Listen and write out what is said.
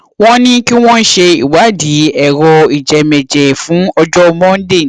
wọn ní kí wọn ṣe ìwádìí ẹrọ ìjẹmẹẹjẹ fún ọjọ monday